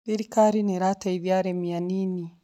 Thirikari nĩ ĩteithagia arĩmi anini.